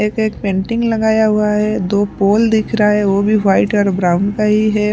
एक एक पेंटिंग लगाया हुआ है दो पोल दिख रहा है वो भी वाइट और ब्राउन का ही है।